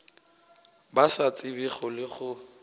ba sa tsebego le gore